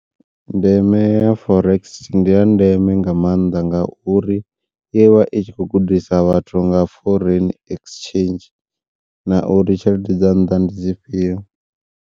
Ndeme ya forex ndi ya ndeme nga maanḓa ngauri ivha i tshi kho gudisa vhathu nga foreign exchange na uri tshelede dza nnḓa ndi dzifhio.